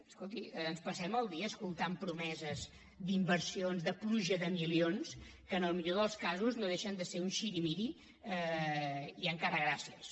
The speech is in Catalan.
escolti ens passem el dia escoltant promeses d’inversions de pluja de milions que en el millor dels casos no deixen de ser un sirimiri i encara gràcies